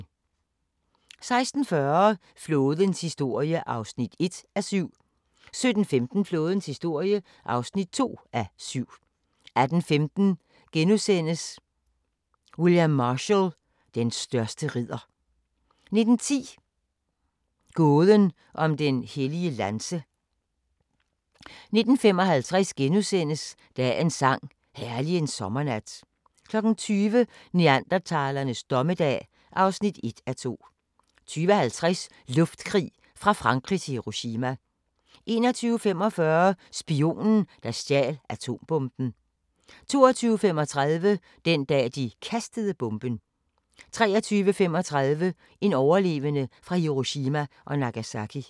16:40: Flådens historie (1:7) 17:15: Flådens historie (2:7) 18:15: William Marshall: Den største ridder * 19:10: Gåden om den hellige lanse * 19:55: Dagens sang: Herlig en sommernat * 20:00: Neandertalernes dommedag (1:2) 20:50: Luftkrig fra Frankrig til Hiroshima 21:45: Spionen, der stjal atombomben 22:35: Den dag, de kastede bomben 23:35: En overlevende fra Hiroshima og Nagasaki